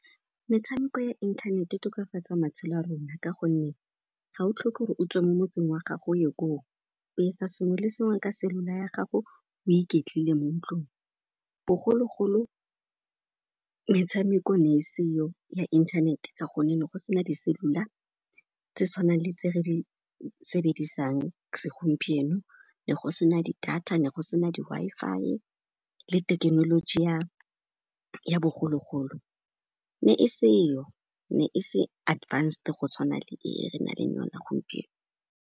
Metshameko ya internet e tokafatsa matshelo a rona ka gonne ga o tlhoke 'ore o tswe mo motseng wa gago o ye koo, o etsa sengwe le sengwe ka cellular ya gago, o iketlile mo ntlong. Bogologolo metshameko ne e seyo ya inthanete ka gonne ne go se na di-cellular tse tshwanang le tse re di sebedisang segompieno, ne go se na di-data, ne go se na di-Wi-Fi le tekenoloji ya bogologolo ne e seyo, ne e se advanced go tshwana le e re naleng yona gompieno.